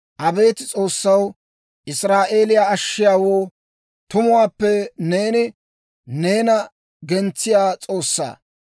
Abeet S'oossaw, Israa'eeliyaa Ashshiyaawoo, tumuwaappe neeni neena gentsiyaa S'oossaa.